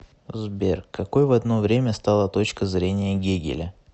сбер какой в одно время стала точка зрения гегеля